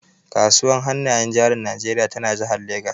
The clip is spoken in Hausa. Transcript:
Kasuwar hannayen jarin Najeriya tana jihar Legas.